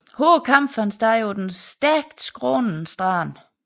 Hårde kampe fandt sted på den stejlt skrånende strand